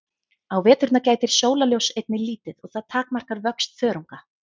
Á veturna gætir sólarljóss einnig lítið og það takmarkar vöxt þörunga.